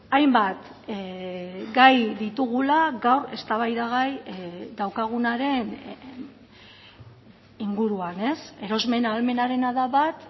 hainbat gai ditugula gaur eztabaidagai daukagunaren inguruan erosmen ahalmenarena da bat